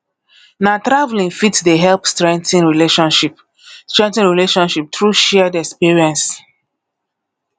na traveling fit dey help strengthen relationship strengthen relationship through shared experience